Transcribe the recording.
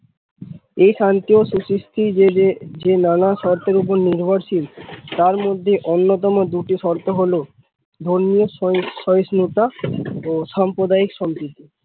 এই শান্তি ও সু সিস্থি যে নানা শর্তের উপর নির্ভর শীল তার মধ্যে অন্য তম দুটি শর্ত হল ধর্মীয় সহিস্নুতা ও সাপ্রদায়িক সম্প্রিতি।